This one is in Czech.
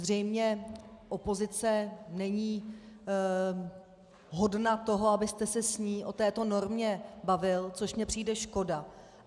Zřejmě opozice není hodna toho, abyste se s ní o této normě bavil, což mně přijde škoda.